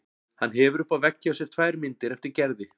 Hann hefur uppi á vegg hjá sér tvær myndir eftir Gerði.